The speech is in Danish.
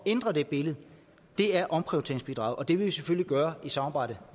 ændre det billede er omprioriteringsbidraget og det vil vi selvfølgelig gøre i samarbejde